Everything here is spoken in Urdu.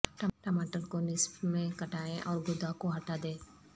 ٹماٹر کو نصف میں کٹائیں اور گودا کو ہٹا دیں